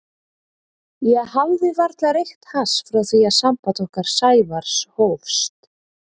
Ég hafði varla reykt hass frá því að samband okkar Sævars hófst.